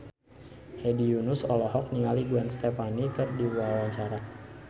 Hedi Yunus olohok ningali Gwen Stefani keur diwawancara